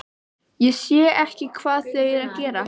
Ég sé ekki hvað þau eru að gera.